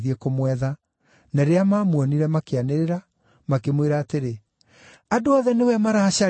na rĩrĩa maamuonire, makĩanĩrĩra, makĩmwĩra atĩrĩ: “Andũ othe nĩwe maracaria!”